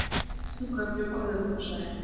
Bjart með köflum á höfuðborgarsvæðinu